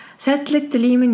сәттілік тілеймін